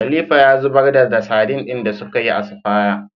Khalifa ya zubar da da sadin din da sukayi asfaya